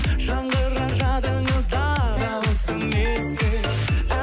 жаңғырар жадыңызда дауысым есті